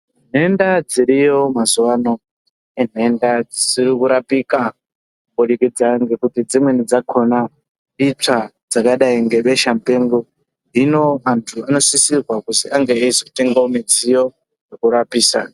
Nhenda dziriyo mazuva ano inhenda dzisiri kurapika kubudikidza ngekuti dzimweni dzakona itswa dzakadai nebesha mupengo. Hino antu anosisirwa kuzi ange eizotengavo mudziyo yekurapisa.